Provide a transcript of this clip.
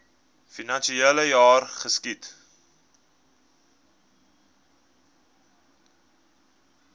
finansiele jaar geskied